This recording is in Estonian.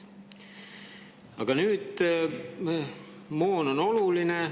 Aga nüüd, moon on oluline.